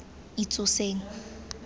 itsoseng